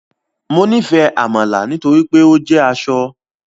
Mo nifẹ amala nitori pe o jẹ asọ